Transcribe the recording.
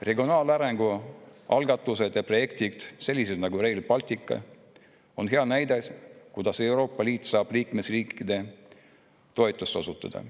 Regionaalarengu algatused ja projektid, sellised nagu Rail Baltic, on hea näide, kuidas Euroopa Liit saab liikmesriike toetada.